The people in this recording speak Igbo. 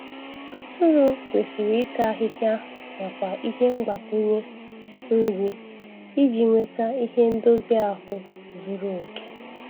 Atụrụ kwesiri ịta ahihịa nakwa ihe mgbakwụnye nri iji nweta ihe ndozi ahụ zuru oke.